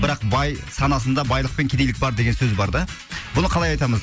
бірақ бай санасында байлық пен кедейлік бар деген сөз бар да бұны қалай айтамыз